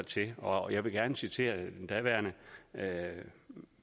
til og jeg vil gerne citere den daværende